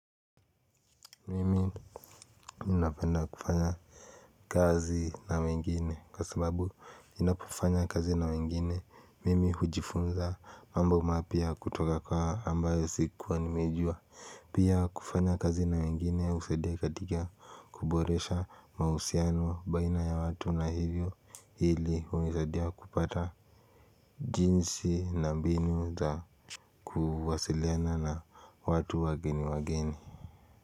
Mimi napenda kufanya kazi na wengine kwa sababu ninapofanya kazi na wengine mimi hujifunza mambo mapya kutoka kwa ambayo sikuwa nimejua pia kufanya kazi na wengine husadia katika kuboresha mahusiano baina ya watu na hivyo hili hunisadia kupata jinsi na mbinu za kuwasiliana na watu wageni wageni.